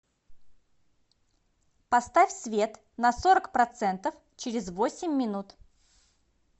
поставь свет на сорок процентов через восемь минут